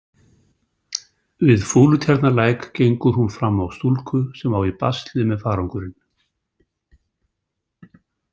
Við Fúlutjarnarlæk gengur hún fram á stúlku sem á í basli með farangurinn.